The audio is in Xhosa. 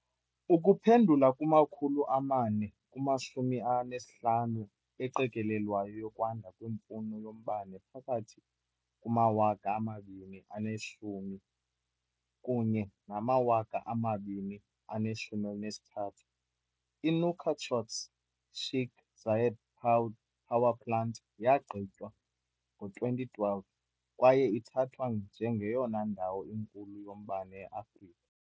Ukuphendula kwi-450 eqikelelwayo yokwanda kwemfuno yombane phakathi kuma-2010 kunye nama-2030, i-Nouakchott's Sheikh Zayed power plant yagqitywa ngo-2012 kwaye ithathwa njengeyona ndawo inkulu yombane e-Afrika.